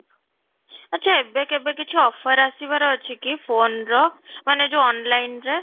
ଆଚ୍ଛା ଏବେ କିଛି offer ଆସିବାର ଅଛି କି phone ର ମାନେ ଯୋଉ online ରେ?